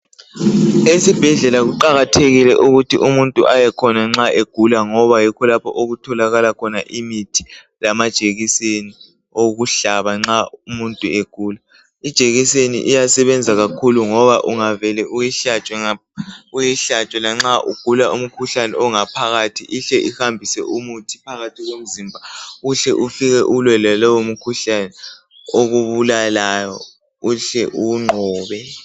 Esibhedlela kuqakathekile ukuthi umuntu ayekhona nxa egula ngoba yikho lapho okutholakala khona imithi lamajekiseni okuhlaba nxa umuntu egula. Ijekiseni iyasebenza kakhulu ngoba ungavele uyihlatshwe lanxa ugula umkhuhlane ongaphakathi ihle ihambise umuthi phakathi komzimba uhle ufike ulwe laloyo mkhuhlane okubulalayo uhle uwunqobe.